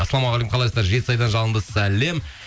ассалаумағалейкум қалайсыздар жетісайдан жалынды сәлем